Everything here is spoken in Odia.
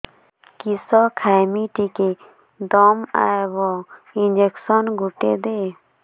କିସ ଖାଇମି ଟିକେ ଦମ୍ଭ ଆଇବ ଇଞ୍ଜେକସନ ଗୁଟେ ଦେ